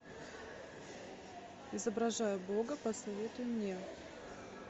изображая бога посоветуй мне